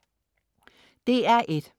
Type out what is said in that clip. DR1: